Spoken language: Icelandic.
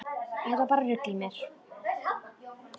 Þetta var bara rugl í mér.